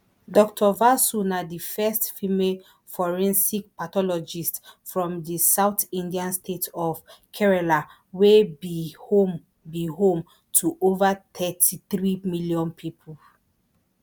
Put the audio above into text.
dr vasu na di first female forensic pathologist from di south indian state of kerala wey be home be home to over thirty-three million pipo